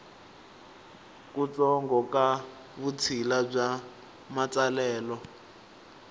kutsongo ka vutshila bya matsalelo